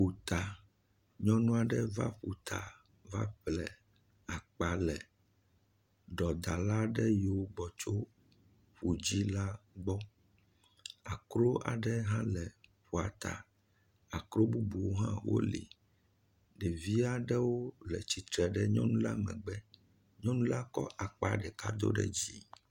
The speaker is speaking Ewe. Ƒuta, nyɔnu aɖe va ƒuta, va ƒle akpa le ɖɔdala aɖe yiwo gbɔ tso ƒu dzi la gbɔ. Akro aɖewo hã le ƒua ta, akro bubuwo hã wole. Ɖevi aɖewo le tsitre le nyɔnu la megbe, nyɔnu la kɔ akpa ɖeka do ɖe dzi.